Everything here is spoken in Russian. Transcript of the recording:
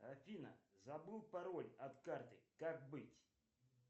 афина забыл пароль от карты как быть